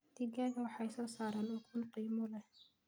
Digaagga waxa soo saara ukun qiimo leh.